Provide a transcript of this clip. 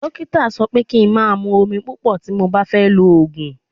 Dókítà sọ pé kí n máa mú omi púpọ̀ tí mo bá fẹ́ lo òògùn.